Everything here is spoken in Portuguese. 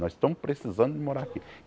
Nós estamos precisando de morar aqui.